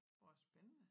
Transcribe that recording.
Hvor spændende